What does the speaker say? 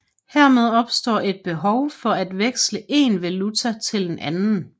Hermed opstår et behov for at veksle én valuta til en anden